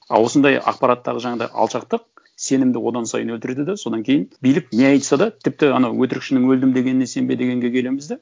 ал осындай ақпараттағы жаңағындай алшақтық сенімді одан сайын өлтіреді де содан кейін билік не айтса да тіпті анау өтірікшінің өлдім дегеніне сенбе дегенге келеміз де